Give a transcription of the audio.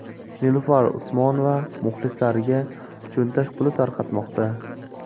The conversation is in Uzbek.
Nilufar Usmonova muxlislariga cho‘ntak puli tarqatmoqda.